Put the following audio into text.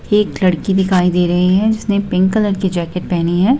एक लड़की दिखाई दे रही है जिसने पिंक कलर की जैकेट पहनी है।